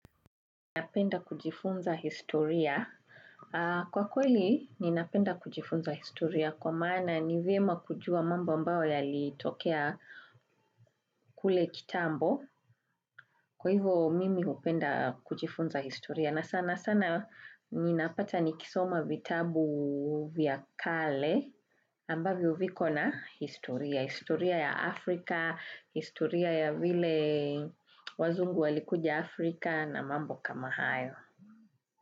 Ninapenda kujifunza historia. Kwa kweli, ninapenda kujifunza historia kwa maana ni vyema kujua mambo ambayo yalitokea kule kitambo. Kwa hivyo mimi hupenda kujifunza historia. Na sana sana, ninapata nikisoma vitabu vya kale ambavyo viko na historia. Historia ya Afrika, historia ya vile wazungu walikuja Afrika na mambo kama hayo.